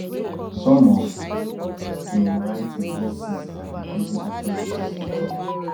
some of im writing dey seized by di prison authorities e tok